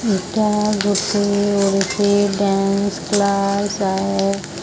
ଏଟା ଗୋଟିଏ Odissi dance class ଆଏ --